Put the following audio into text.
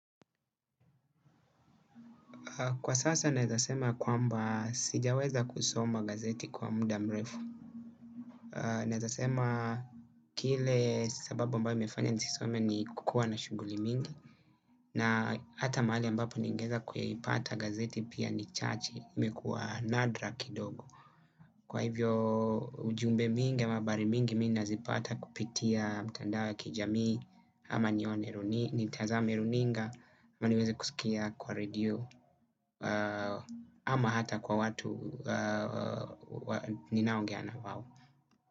Kwa sasa naeza sema kwamba sijaweza kusoma gazeti kwa mda mrefu. Naeza sema kile sababu ambayo imefanya nisisome ni kukua na shughuli mingi. Na hata mahali ambapo ningeeza kuyaipata gazeti pia ni chache. Imekuwa nadra kidogo. Kwa hivyo ujumbe mingi ama habari mingi mi ninazipata kupitia mtandao ya kijamii. Ama nitazame runinga. Ama niweze kusikia kwa redio. Ama hata kwa watu ninaongea na wao.